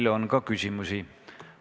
Teile on ka küsimusi.